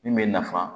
Min bɛ nafa